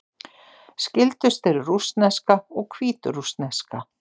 Skyldust eru rússneska og hvítrússneska.